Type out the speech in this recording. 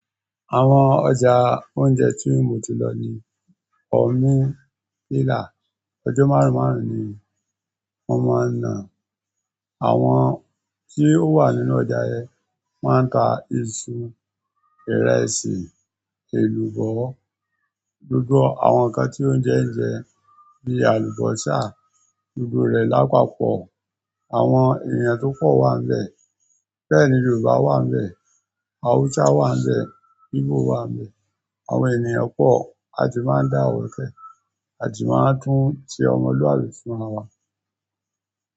Àwọn ọjà oúnjẹ tí mo ti lọ ni omi, nílà. Ọjọ́ márùn márùn ni wọ́n máa ń nà. Àwọn tí ó wà nínú ọjà yẹn, wọ́n ń ta iṣu, ìrẹsì, èlùbọ́, gbogbo àwọn nǹkan tí oúnjẹ ń jẹ bí àlùbọ́sà, gbogbo rẹ̀ lápapọ̀. Àwọn èèyàn tó pọ̀ wà níbẹ̀. Bẹ́ẹ̀ ni Yorùbá wà n bẹ̀, Hausa wà n bẹ̀, Igbo wà n bẹ̀. Àwọn ènìyàn pọ̀, a sì máa ń dáwọ́kẹ̀, a sì máa tún ṣe ọmọlúwàbí fún rawa.